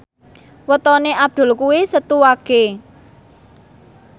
wetone Abdul kuwi Setu Wage